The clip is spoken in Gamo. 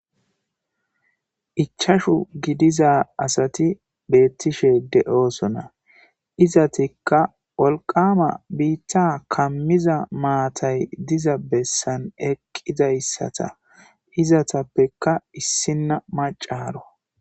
Ichashu giidiza asati bettishe deoosona izzetika wolqamma biitta kammiza maatay diiza bessan eqqidayssata iizetappeka issina maaccaro.